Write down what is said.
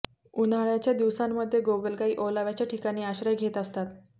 उन्हाळ्याच्या दिवसांमध्ये गोगलगायी ओलाव्याच्या ठिकाणी आश्रय घेत असतात